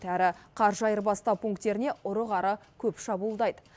әрі қаржы айырбастау пунктеріне ұры қары көп шабуылдайды